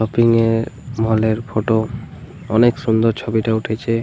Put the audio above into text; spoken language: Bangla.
শপিং -এর মল -এর ফটো । অনেক সুন্দর ছবিটা উঠেছে।